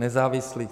Nezávislých?